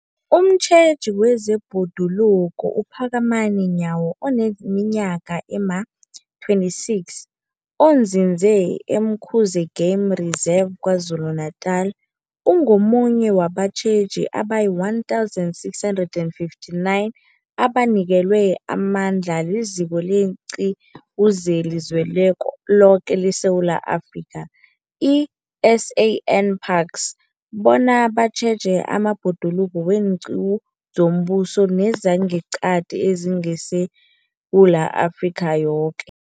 Umtjheji wezeBhoduluko uPhakamani Nyawo oneminyaka ema-26, onzinze e-Umkhuze Game Reserve KwaZulu-Natala, ungomunye wabatjheji abayi-1 659 abanikelwe amandla liZiko leenQiwu zeliZweloke leSewula Afrika, i-SANParks, bona batjheje amabhoduluko weenqiwu zombuso nezangeqadi ezingeSewula Afrika yoke.